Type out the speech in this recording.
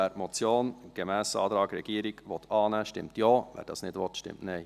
Wer die Motion gemäss Antrag Regierung annehmen will, stimmt Ja, wer das nicht will, stimmt Nein.